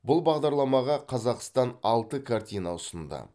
бұл бағдарламаға қазақстан алты картина ұсынды